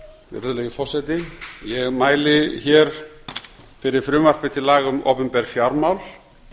virðulegi forseti ég mæli fyrir frumvarpi til laga um opinber fjármál